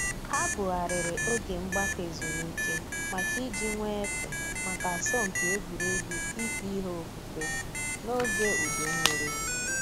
Ha bugharịrị oge mgbakọ ezumike maka iji nwee efe maka asọmpi egwuregwu ife ihe ofufe n’oge udu mmiri